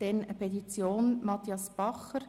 Siebtens: Petition von Matthias Bacher: